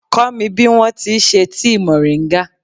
Kọ́ mi bí wọn ti ṣe tíì mòríńgà.